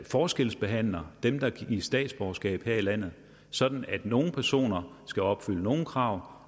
forskelsbehandler dem der gives statsborgerskab her i landet sådan at nogle personer skal opfylde nogle krav